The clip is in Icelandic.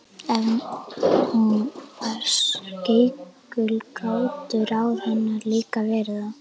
Ef hún var skeikul gátu ráð hennar líka verið það.